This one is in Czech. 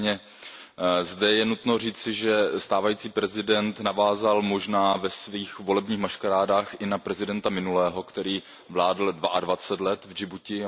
Nicméně zde je nutno říci, že stávající prezident navázal možná ve svých volebních maškarádách i na prezidenta minulého, který vládl dvacet dva let v Džibutsku.